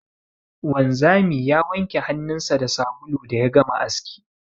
Wanzami ya wanke hannunsa da sabulu da ya gama aski.